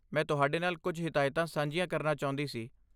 ਮੈਂ ਤੁਹਾਡੇ ਨਾਲ ਕੁਝ ਹਿਦਾਇਤਾਂ ਸਾਂਝੀਆਂ ਕਰਨਾ ਚਾਹੁੰਦੀ ਸੀ।